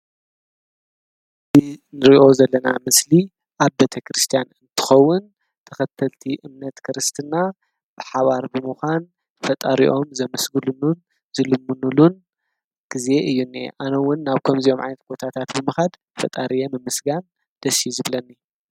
ንርእዮ ዘለና ምስሊ ኣብ ቤተክርስቲያን እንትኸውን ተኸተልቲ እምነት ክርስትና ብሓባር ብምዃን ፈጣሪኦም ዘመስግሉን ዝልምኑሉን ጊዜ እዩኒ ኣነውን ናብ ከምዘዮም ዓነት ጐታታት ብምኻድ ፈጣርየምምስጋን ደሢዩ ዝብለኒ